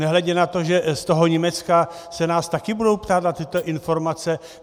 Nehledě na to, že z toho Německa se nás také budou ptát na tyto informace.